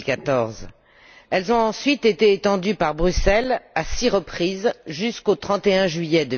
2014. Elles ont ensuite été prolongées par Bruxelles à six reprises jusqu'au 31 juillet